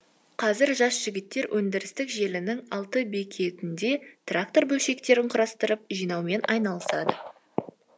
қазір жас жігіттер өндірістік желінің алты бекетінде трактор бөлшектерін құрастырып жинаумен айналысады